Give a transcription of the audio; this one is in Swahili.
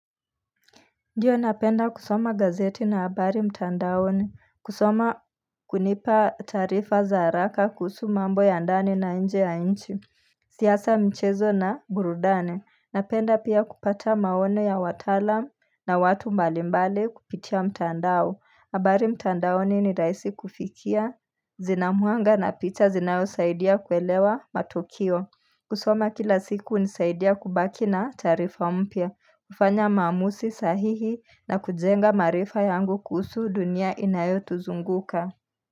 Ndiyo napenda kusoma gazeti na habari mtandaoni, kusoma hunipa taarifa za haraka kuhusu mambo ya ndani na nje ya nchi siasa mchezo na burudani napenda pia kupata maono ya wataalamu na watu mbali mbali kupitia mtandao, habari mtandaoni ni rahisi kufikia, zina mwanga na picha zinayosaidia kuelewa matukio kusoma kila siku hunisaidia kubaki na taarifa mpya, kufanya maamuzi sahihi na kujenga maarifa yangu kuhusu dunia inayotuzunguka.